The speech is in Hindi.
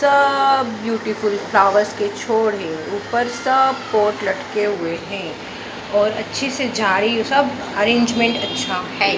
सब ब्यूटीफुल फ्लावर्स के छोड़ हैं ऊपर सब फोर्ट लटके हुए हैं और अच्छे से जा रही हैं सब अरेंजमेंट अच्छा हैं ।